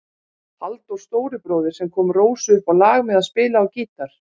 Halldór stóribróðir sem kom Rósu upp á lag með að spila á gítar.